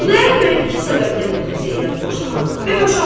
Xudayar bəy iki səbəbdən ötrü Zeynəb boşamadı və boşamazdı.